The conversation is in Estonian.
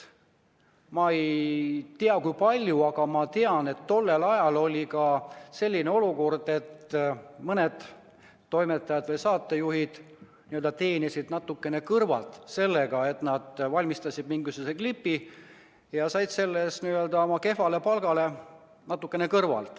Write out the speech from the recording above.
Ma ei tea, kui palju seda oli, aga tean, et tollel ajal esines ka selliseid olukordi, kui mõned toimetajad või saatejuhid teenisid natukene kõrvalt sellega, et valmistasid mingisuguse klipi ja said selle eest oma kehvale palgale natukene lisa.